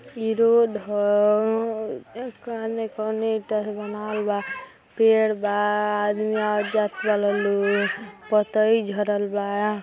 इ रोड ह| का जाने कवना ईटा से बनावल बा पेड़ बा आदमी आवत जात बा| पतई झरल बा